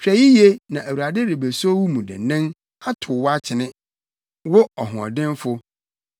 “Hwɛ yiye, na Awurade rebeso wo mu den atow wo akyene, wo ɔhoɔdenfo.